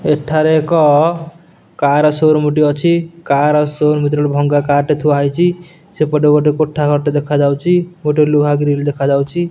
ଏଠାରେ ଏକ car showroom ଟି ଅଛି କାର ସୋରୁମ୍ ଭିତରେ ଗୋଟେ ଭଙ୍ଗ କାର ଟି ଥୁଆ ହେଇଚି ସେପଟେ ଗୋଟେ କୋଠା ଘର ଦେଖା ଯାଉଚି ଗୋଟେ ଲୁହା ଗ୍ରିଲ୍ ଦେଖାଯାଉଚି ।